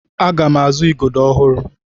Aga m azụ Igodo ọhụrụ.